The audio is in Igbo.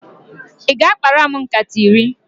Ị ga-akpara m nkata iri?